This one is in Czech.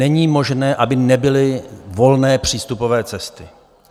Není možné, aby nebyly volné přístupové cesty.